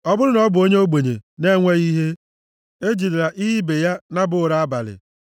Ọ bụrụ na ọ bụ onye ogbenye na-enweghị ihe, e jidela ihe ibe ya naba ụra abalị.